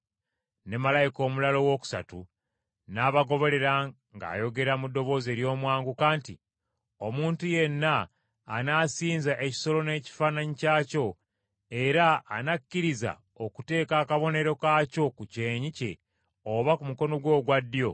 Ne malayika omulala owookusatu n’abagoberera ng’ayogera mu ddoboozi ery’omwanguka nti, “Omuntu yenna anaasinza ekisolo n’ekifaananyi kyakyo, era anakkiriza okuteeka akabonero kaakyo ku kyenyi kye oba ku mukono gwe ogwa ddyo,